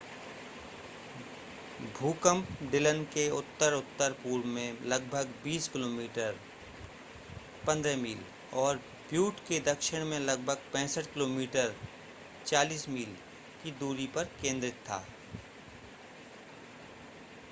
भूकंप डिलन के उत्तर-उत्तर पूर्व में लगभग 20 किमी 15 मील और ब्यूट के दक्षिण में लगभग 65 किमी 40 मील की दूरी पर केंद्रित था